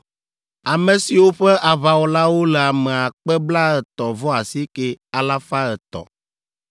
ame siwo ƒe aʋawɔlawo le ame akpe blaetɔ̃-vɔ-asieke, alafa etɔ̃ (59,300).